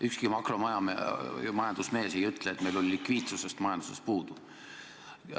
Ükski makromajandusmees ei ütle, et meil on likviidsusest majanduses puudu.